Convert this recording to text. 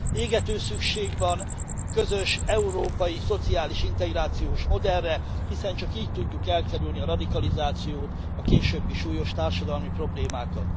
Égető szükség van közös európai szociális integrációs modellre, hiszen csak így tudjuk elkerülni a radikalizációt, a későbbi súlyos társadalmi problémákat.